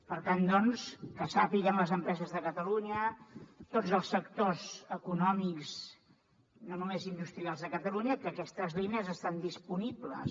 per tant doncs que sàpiguen les empreses de catalunya tots els sectors econòmics no només industrials de catalunya que aquestes línies estan disponibles